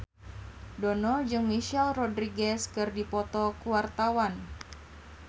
Dono jeung Michelle Rodriguez keur dipoto ku wartawan